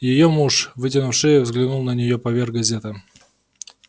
её муж вытянув шею взглянул на нее поверх газеты